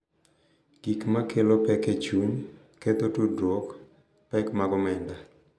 Gik ma kelo pek e chuny, ketho tudruok, pek mag omenda,